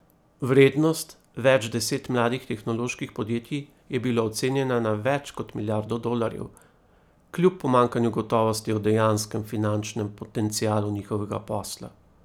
Vrednost več deset mladih tehnoloških podjetij je bila ocenjena na več kot milijardo dolarjev, kljub pomanjkanju gotovosti o dejanskem finančnem potencialu njihovega posla.